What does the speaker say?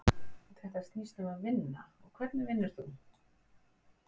Þetta snýst um að vinna og hvernig vinnur þú?